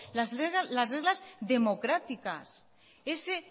las reglas democráticas ese